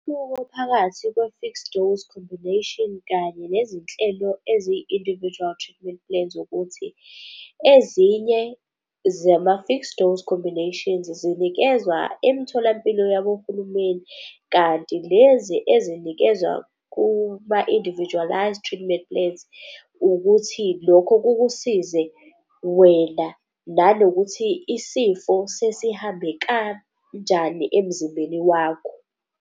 Umehluko phakathi kwe-fixed-dose combination kanye nezinhlelo eziyi-individual treatment plans ukuthi ezinye zama-fixed-dose combinations zinikezwa emtholampilo yabohulumeni, kanti lezi ezinikezwa kuma-individualized treatment plans ukuthi lokho kukusize wena, nanokuthi isifo sesihambe kanjani emzimbeni wakho.